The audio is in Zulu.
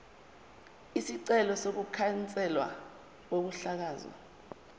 isicelo sokukhanselwa kokuhlakazwa